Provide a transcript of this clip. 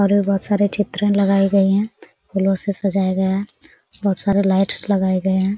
और भी बोहत सारी चित्र लगाई गई है फूलो से सजाया गया है बहुत-सारी लाइट्स लगाए गए हैं।